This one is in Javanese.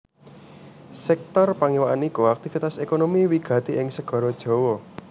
Sèktor pangiwakan iku aktivitas ékonomi wigati ing Segara Jawa